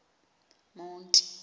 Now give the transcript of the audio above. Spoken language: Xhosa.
monti